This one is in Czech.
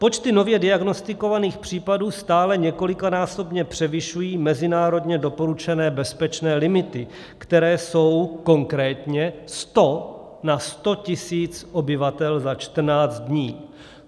Počty nově diagnostikovaných případů stále několikanásobně převyšují mezinárodně doporučené bezpečné limity, které jsou konkrétně 100 na 100 tisíc obyvatel na 14 dní.